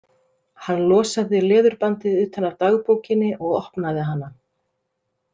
Hann losaði leðurbandið utan af dagbókinni og opnaði hana.